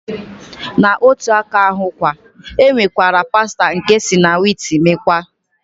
Na otu aka ahụkwa, e nwekwara pasta nke esi na wiit mekwaa.